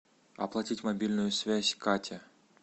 оплатить мобильную связь катя